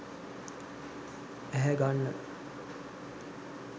ඇහැ ගන්න